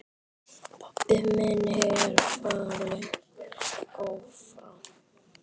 Pabbi minn er fallinn frá.